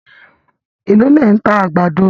Èló lẹ̀ ń ta àgbàdo